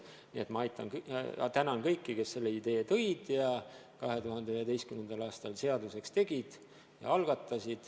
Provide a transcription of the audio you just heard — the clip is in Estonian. Nii et ma tänan kõiki, kes selle idee algatasid ja 2011. aastal seaduseks tegid.